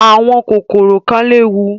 Àwọn kòkòrò kan léwu.